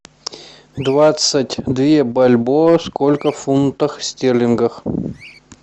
двадцать две бальбоа сколько в фунтах стерлингах